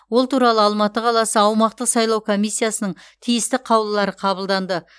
ол туралы алматы қаласы аумақтық сайлау комиссиясының тиісті қаулылары қабылданды